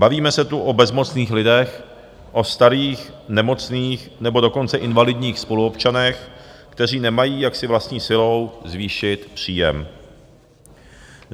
Bavíme se tu o bezmocných lidech, o starých nemocných, nebo dokonce invalidních spoluobčanech, kteří nemají, jak si vlastní silou zvýšit příjem.